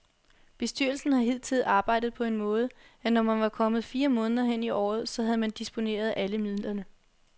Bestyrelsen har hidtil arbejdet på den måde, at når man var kommet fire måneder hen i året, så havde man disponeret alle midlerne.